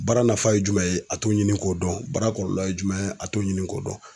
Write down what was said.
Baara nafa ye jumɛn ye, a t'o ɲini k'o dɔn. Baara kɔlɔlɔ ye jumɛn ye a t'o ɲini k'o dɔn.